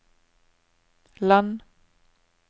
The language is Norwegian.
land